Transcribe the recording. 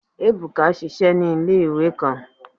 Ebuka ṣiṣẹ ni ile-iwe kan